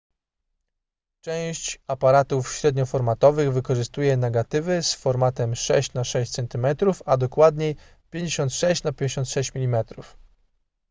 część aparatów średnioformatowych wykorzystuje negatywy z formatem 6 na 6 cm a dokładniej 56 na 56 mm